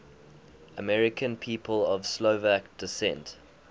american people of slovak descent